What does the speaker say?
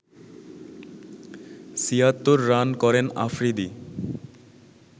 ৭৬ run করেন আফ্রিদি